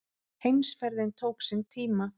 Heimferðin tók sinn tíma.